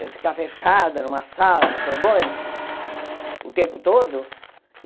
Eu ficar fechada numa sala na Sorbonne o tempo todo?